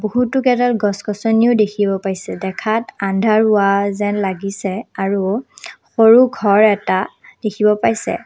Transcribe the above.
বহুতো কেইডাল গছ-গছনিও দেখিব পাইছে দেখাত আন্ধাৰ হোৱা যেন লাগিছে আৰু সৰু ঘৰ এটা দেখিব পাইছে।